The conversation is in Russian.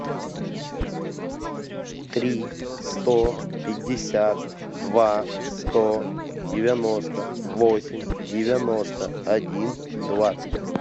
три сто пятьдесят два сто девяносто восемь девяносто один двадцать